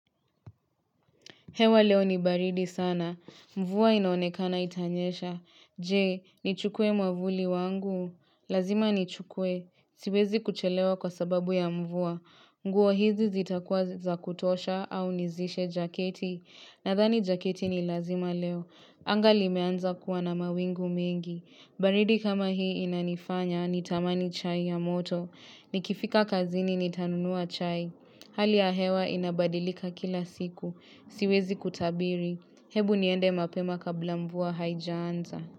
Hewa leo ni baridi sana. Mvua inaonekana itanyesha. Je, nichukue mwavuli wangu? Lazima ni chukwe. Siwezi kuchelewa kwa sababu ya mvua. Nguo hizi zitakuwa za kutosha au nizishe jaketi? Nadhani jaketi ni lazima leo. Anga limeanza kuwa na mawingu mengi. Baridi kama hii inanifanya nitamani chai ya moto. Nikifika kazini nitanunua chai. Hali ya hewa inabadilika kila siku. Siwezi kutabiri. Hebu niende mapema kabla mvua haijaanza.